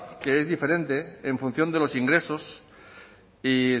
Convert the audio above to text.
que es diferente en función de los ingresos